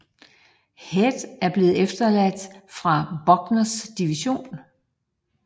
Head var blevet efterladt fra Buckners division